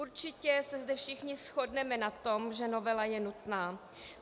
Určitě se zde všichni shodneme na tom, že novela je nutná.